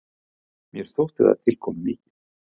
Mér þótti það tilkomumikið.